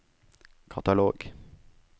katalog